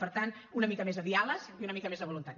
per tant una mica més de diàleg i una mica més de voluntat